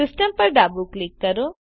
Systemપર ડાબું ક્લિક કરો